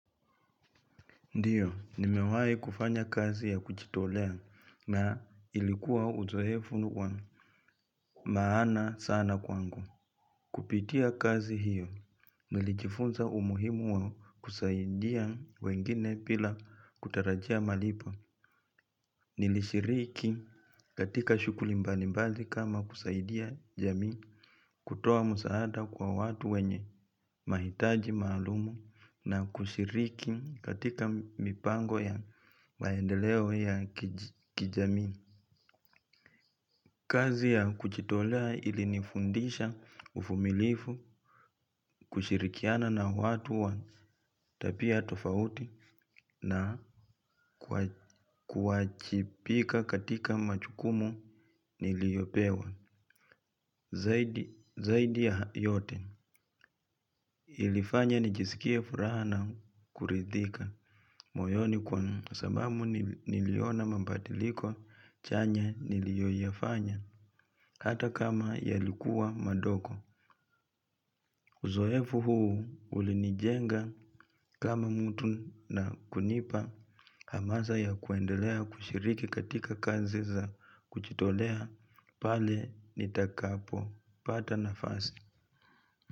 Ndiyo, nimewai kufanya kazi ya kujitolea na ilikuwa uzoefu wa maana sana kwangu. Kupitia kazi hiyo, nilijifunza umuhimu wa kusaidia wengine pila kutarajia malipo. Nilishiriki katika shukuli mbalimbali kama kusaidia jamii kutoa msaada kwa watu wenye mahitaji maalumu na kushiriki katika mipango ya maendeleo ya kijamii. Kazi ya kuchitolea ilinifundisha ufumilifu kushirikiana na watu wa tapia tofauti na kuwachipika katika machukumu niliyopewa. Zaidi ya yote ilifanya nijisikie furaha na kuridhika moyoni kwa sababu niliona mapadiliko chanya niliyoyafanya hata kama yalikuwa madoko. Uzoefu huu ulinijenga kama mtu na kunipa hamaza ya kuendelea kushiriki katika kazi za kuchitolea pale nitakapopata nafasi.